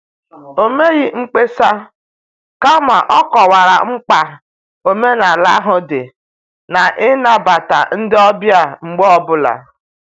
O meghị mkpesa, kama ọ kọwara mkpa omenala ahụ dị n' ịnabata ndị ọbịa mgbe ọ bụla